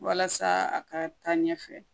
Walasa a ka taa ɲɛfɛ